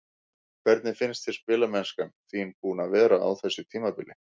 Hvernig finnst þér spilamennskan þín búin að vera á þessu tímabili?